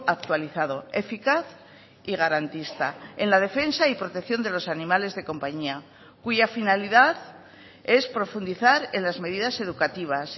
actualizado eficaz y garantista en la defensa y protección de los animales de compañía cuya finalidad es profundizar en las medidas educativas